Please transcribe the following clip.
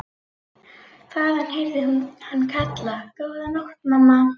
Þaðan heyrði hún hann kalla: Góða nótt mamma.